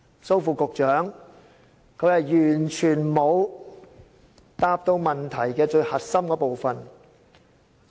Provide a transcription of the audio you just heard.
蘇副局長剛才完全沒有回答到問題最核心的部分。